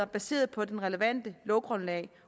baseret på det relevante lovgrundlag